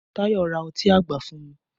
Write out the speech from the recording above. Tayọ ra ọtí àgbà fún mi